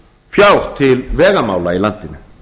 fjár til vegamála í landinu